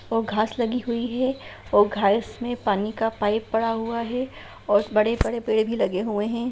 और घास लगी हुई है और घास में पानी का पाइप पड़ा हुआ है और बड़े-बड़े पेड़ भी लगे हुए है।